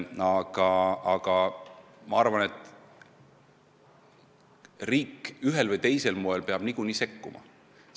Samas ma arvan, et riik ühel või teisel moel peab siiski sekkuma.